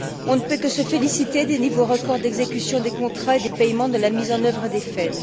On ne peut que se féliciter des niveaux records d'exécution des contrats et des paiements de la mise en œuvre des FED.